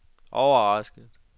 overrasket